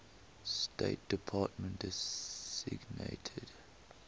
state department designated